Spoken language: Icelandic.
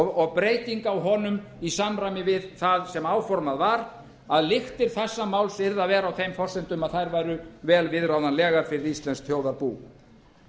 og breytinga á honum í samræmi við það sem áformað var að lyktir þessa máls yrðu að vera á þeim forsendum að þær væru vel viðráðanlegar fyrir íslenskt þjóðarbú